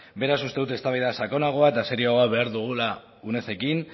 beraz uste dut eztabaida sakonagoa eta serioagoa behar dugula unedekin